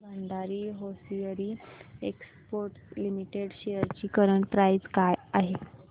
Bhandari hosiery exports limited shares ची current price काय आहे